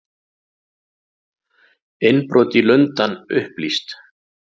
Innbrot í Lundann upplýst